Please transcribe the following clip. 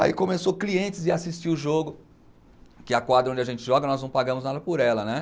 Aí começou clientes ir assistir o jogo, que a quadra onde a gente joga, nós não pagamos nada por ela, né?